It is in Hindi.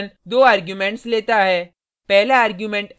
unshift फंक्शन 2 आर्गुमेंट्स लेता है